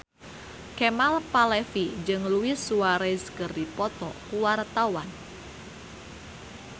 Kemal Palevi jeung Luis Suarez keur dipoto ku wartawan